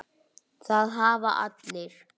Af hverju er hún týnd?